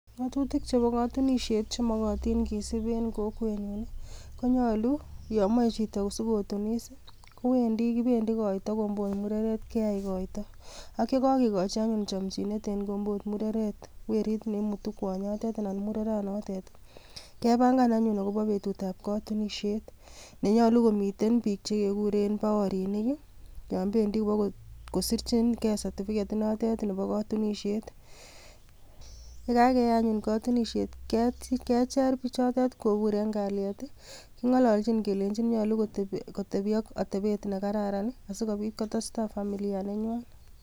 Tuguuk chebo kotunisiet, chemokootin kisib en kokwenyun I,konyolu yomoe chito sikotinis, kowendi anan kibendii koito komboot mureret keyai koito. Ak yekokikochi anyun chomchinet en kombot mureret werit, neimutu kwonyotet anan mureretnotet, kepangan anyun akobo betut ab kotunisiet. Nenyolu komiten biik chekekuuren baorinik i,yon bendi kobokosirchingee certificate inotet Bo kotunisiet. Yekakeyai anyun kotunisiet kecher bichotet kobuur en kalyet, kingololchin kele nyolu kotebii ak atebet nekararan asikobiit kotestai familia nenywan.